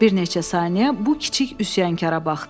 Bir neçə saniyə bu kiçik üsyankara baxdı.